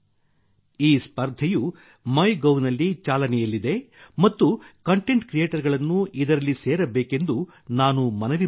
ಈ ಸ್ಪರ್ಧೆಯು ಮೈಗೋವ್ ನಲ್ಲಿ ಚಾಲನೆಯಲ್ಲಿದೆ ಮತ್ತು ನಾನು ಕಂಟೆಂಟ್ ಕ್ರಿಯೇಟರ್ ಗಳನ್ನು ಇದರಲ್ಲಿ ಸೇರಬೇಕೆಂದು ನಾನು ಮನವಿ ಮಾಡುತ್ತೇನೆ